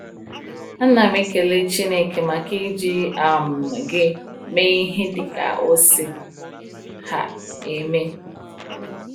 A na m ekele Chineke maka iji um gị mee ihe dịka o si um eme.